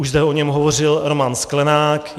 Už zde o něm hovořil Roman Sklenák.